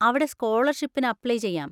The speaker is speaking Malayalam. അവിടെ സ്‌കോളർഷിപ്പിന് അപ്ലൈ ചെയ്യാം.